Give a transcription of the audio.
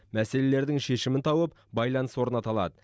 мәселелердің шешімін тауып байланыс орната алады